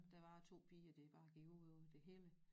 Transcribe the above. Der var 2 piger det bare gik ud over det hele